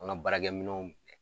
An ŋa baarakɛminɛnw